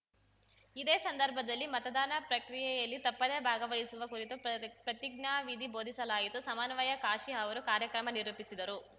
ಇದೇ ಸಂದರ್ಭದಲ್ಲಿ ಮತದಾನ ಪ್ರಕ್ರಿಯೆಯಲ್ಲಿ ತಪ್ಪದೆ ಭಾಗವಹಿಸುವ ಕುರಿತು ಪ್ರತ್ ಪ್ರತಿಜ್ಞಾವಿಧಿ ಬೋಧಿಸಲಾಯಿತು ಸಮನ್ವಯ ಕಾಶಿ ಅವರು ಕಾರ್ಯಕ್ರಮ ನಿರೂಪಿಸಿದರು